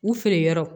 U feere yɔrɔ